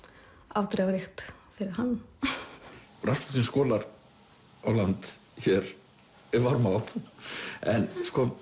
afdrifaríkt fyrir hann raspútín skolar á land hér við Varmá en